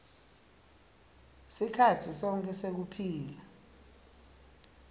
sikhatsi sonkhe sekuphila